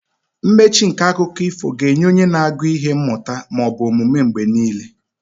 Mmechi nke akụkọ ifo ga-enye onye na-agụ ihe mmụta ma ọ bụ omume mgbe niile.